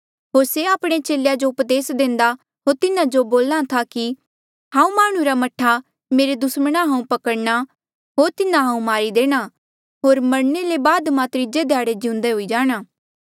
होर से आपणे चेलेया जो उपदेस देंदा होर तिन्हा जो बोल्हा था कि हांऊँ माह्णुं रा मह्ठा मेरे दुसमणा हांऊँ पकड़णा होर तिन्हा हांऊँ मारी देणा होर मरणे ले बाद मां त्रीजे ध्याड़े जिउंदे हुई जाणा